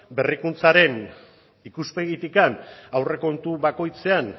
berrikuntzaren ikuspegitik aurrekontu bakoitzean